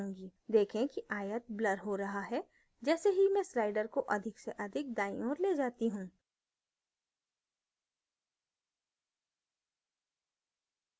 देखें कि आयत ब्लर हो रहा है जैसे ही मैं slider को अधिक से अधिक दाईं ओर ले जाती हूँ